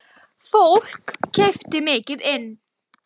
Fólk keypti mikið inn.